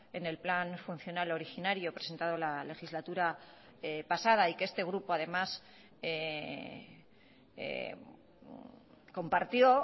en el plan funcional originario presentado la legislatura pasada y que este grupo además compartió